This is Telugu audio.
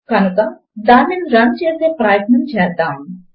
ఒకే కనుక దానిని రన్ చేసే ప్రయత్నము చేద్దాము